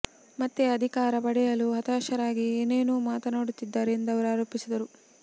ಮತ್ತೆ ಅಧಿಕಾರ ಪಡೆಯಲು ಹತಾಶರಾಗಿ ಏನೇನೋ ಮಾತನಾಡುತ್ತಿದ್ದಾರೆ ಎಂದು ಅವರು ಆರೋಪಿಸಿದರು